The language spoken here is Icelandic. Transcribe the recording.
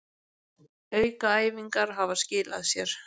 Aukaæfingarnar hafa skilað sér